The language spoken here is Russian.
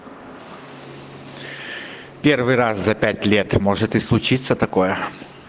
первый раз за пять лет может и случиться такое